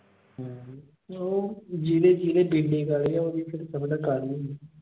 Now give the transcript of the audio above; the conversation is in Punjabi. ਹਮ ਓਹ ਜਿਹੜੇ ਜਿਹੜੀ ਕਾਲੇ ਆ ਉਹਦੀ ਪਤਾ ਕਾਲੀ ਹੁੰਦੀ।